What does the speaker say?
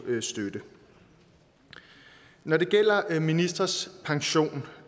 støtte når det gælder ministres pension